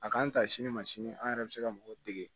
A k'an ta sini ma sini an yɛrɛ bɛ se ka mɔgɔw dege